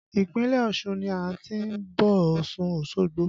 Ìpínlẹ̀ Ọ̀ṣun ni a ti ń bọ̀ Ọ̀ṣun Osogbo